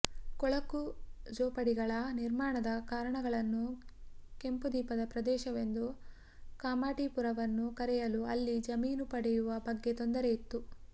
ಕೊಳಕು ಝೋಪಡಿಗಳ ನಿರ್ಮಾಣದ ಕಾರಣಗಳನ್ನು ಕೆಂಪುದೀಪದ ಪ್ರದೇಶವೆಂದು ಕಾಮಾಠಿಪುರವನ್ನು ಕರೆಯಲು ಅಲ್ಲಿ ಜಮೀನು ಪಡೆಯುವ ಬಗ್ಗೆ ತೊಂದರೆ ಇತ್ತು